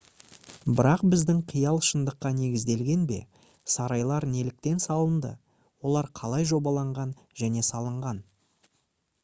бірақ біздің қиял шындыққа негізделген бе сарайлар неліктен салынды олар қалай жобаланған және салынған